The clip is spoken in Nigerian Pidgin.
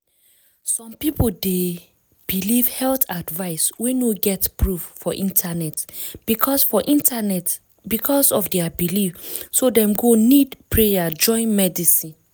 people dey believe health advice wey no get proof for internet because for internet because of their belief so dem go nid prayer join medicine.